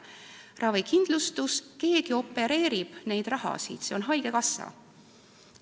Ravikindlustuses keegi opereerib seda raha, see on haigekassa.